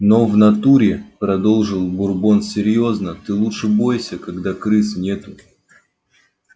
но в натуре продолжил бурбон серьёзно ты лучше бойся когда крыс нету